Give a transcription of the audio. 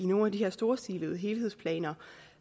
nogle af de her storstilede helhedsplaner